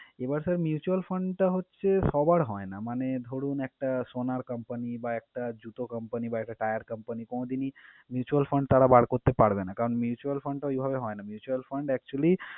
এবার sir mutual fund টা হচ্ছে সবার হয়না মানে ধরুন, একটা সোনার comapny বা একটা জুতো company বা একটা tire company কোনদিনই mutual fund তাঁরা বার করতে পারবে না কারন mutual fund টা ওইভাবে হয় না, mutual fund actually